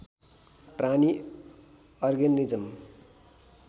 प्राणी अर्गेनिज्म